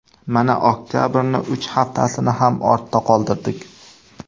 Mana oktabrning uch haftasini ham ortda qoldirdik.